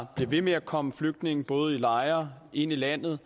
bliver ved med at komme flygtninge til både lejre og ind i landet